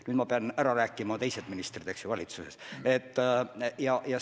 Nüüd ma pean ära rääkima teised ministrid valitsuses.